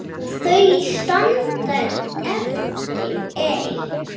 Þau standa eftir ein.